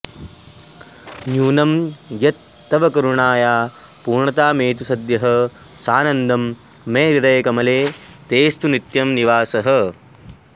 न्यूनं यत्तत्तव करुणाया पूर्णतामेतु सद्यः सानन्दं मे हृदयकमले तेऽस्तु नित्यं निवासः